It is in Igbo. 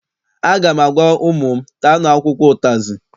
Aga m agwa ụmụ m, taanụ akwụkwọ ụtazị!